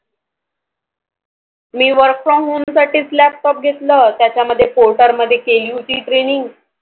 me Work from home साठीच Laptop घेतलं त्याच्यामध्ये Porter मध्ये केली होती Training